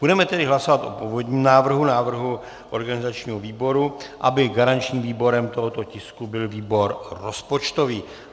Budeme tedy hlasovat o původním návrhu, návrhu organizačního výboru, aby garančním výborem tohoto tisku byl výbor rozpočtový.